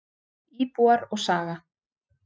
Íbúar og saga.